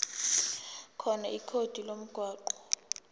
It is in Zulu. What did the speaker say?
khona ikhodi lomgwaqo